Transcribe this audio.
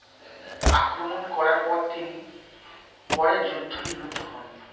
আক্রমণ করার পর তিনি পরে যুদ্ধ নিমিত্ত হন।